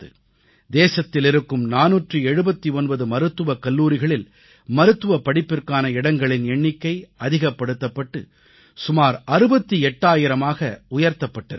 தேசத்தில் இருக்கும் 479 மருத்துவக் கல்லூரிகளில் மருத்துவப்படிப்பிற்கான இடங்களின் எண்ணிக்கை அதிகப்படுத்தப்பட்டு சுமார் 68000ஆக உயர்த்தப்பட்டிருக்கிறது